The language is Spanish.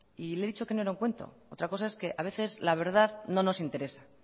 y le he dicho que no era un cuento otra cosa es que a veces la verdad no nos interesa